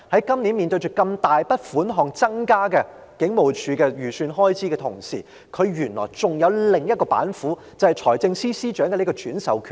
今年預算案中警務處的開支預算獲如此大的增幅，而原來警隊還有另一道板斧，就是財政司司長可轉授上述的權力。